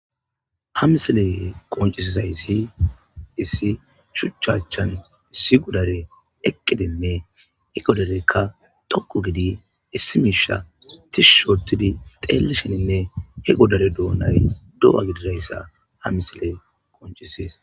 Ha misiley qonccisizayssi issi shuchcha achchan issi godarey eqqidinne he godarey xoqqu giidi issi miishsha bolla tishshi ootti xeellishininne he godare doona do'a gididayssa ha misiley qonccises.